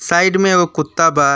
Side में एगो कुत्ता बा।